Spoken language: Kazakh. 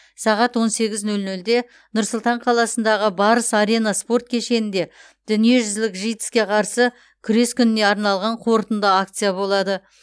сағат он сегіз нөл нөлде нұр сұлтан қаласындағы барыс арена спорт кешенінде дүниежүзілік житс ке қарсы күрес күніне арналған қорытынды акция болады